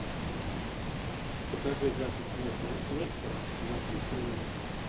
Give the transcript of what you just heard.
покажи запись между лестером и манчестер юнайтед